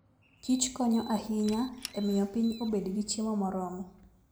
Kich konyo ahinya e miyo piny obed gi chiemo moromo.